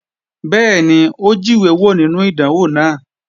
Bẹ́ẹ̀ni, ó jíwé wò nínú ìdánwò náà